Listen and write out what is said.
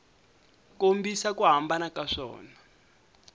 kombisa ku hambana ka swona